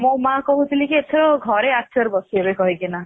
ମୋ ମା କହୁଥିଲେ କି ଏଥର ଘରେ ଆଚାର ବସେଇବେ କହି କି ନା